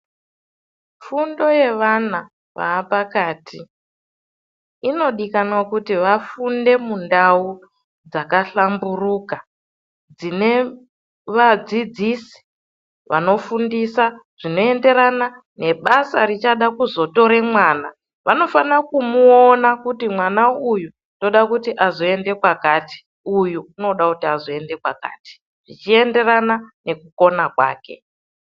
Fundo yevana vaapakati inodikanwa kuti vafunde mundau dzakahlamburuka, dzine vadzidzisi vanofundisa zvinoenderana nebasa richada kuzotore mwana ,Vanofana kumuona kuti mwana uyu ndoda kuti azoenda kwakati uyu unoda kuti azoenda kwakati zvichienderana nekukona kwake.